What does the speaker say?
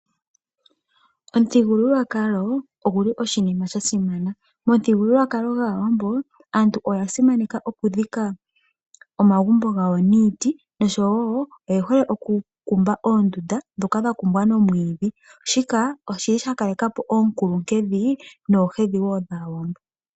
Omuthigululwakalo oguli oshinima shasimana. Momuthigululwakalo gwaawambo aantu oya simaneka oku dhika omagumbo gawo niiti oshowo oye hole oku kumba oondunda, ndhoka dha kumbwa nomwiidhi, shika oshili sha kaleka po oonkulunkedhi noohedhi wo dhaawambo.